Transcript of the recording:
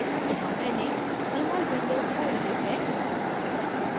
यहाँ मैंने jmol window खोल ली है